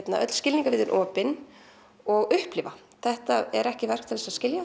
öll skilningarvit opin og upplifa þetta er ekki verk til að skilja